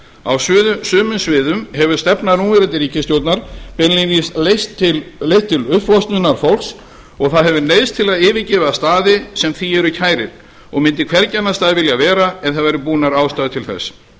á sumum sviðum hefur stefna núverandi ríkisstjórnar beinlínis leitt til uppflosnunar fólks og það hefur neyðst til að yfirgefa staði sem því eru kærir og mundu hvergi annars staðar vilja vera ef það væru búnar ástæður til þess